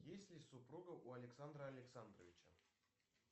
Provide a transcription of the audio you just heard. есть ли супруга у александра александровича